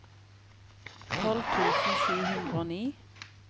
tolv tusen sju hundre og ti